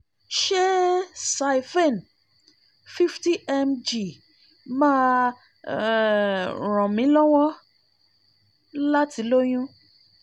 ṣé siphene fifty mg máa ń um ràn mí lọ́wọ́ láti lóyún?